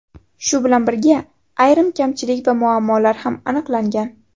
Shu bilan birga, ayrim kamchilik va muammolar ham aniqlangan.